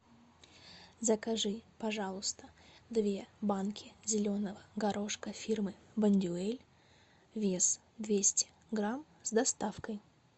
закажи пожалуйста две банки зеленого горошка фирмы бондюэль вес двести грамм с доставкой